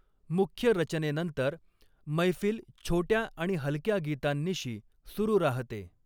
मुख्य रचनेनंतर मैफील छोट्या आणि हलक्या गीतांनिशी सुरू राहते.